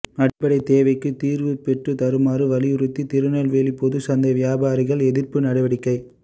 அடிப்படை தேவைகளுக்கு தீர்வு பெற்றுத் தருமாறு வலியுறுத்தி திருநெல்வேலிப் பொதுச் சந்தை வியாபாரிகள் எதிர்ப்பு நடவடிக்கை